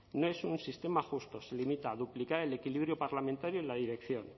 no es un sistema justo se limita a duplicar el equilibrio parlamentario en la dirección